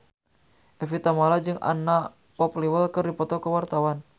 Evie Tamala jeung Anna Popplewell keur dipoto ku wartawan